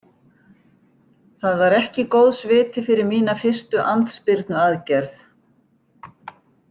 Það var ekki góðs viti fyrir mína fyrstu andspyrnuaðgerð.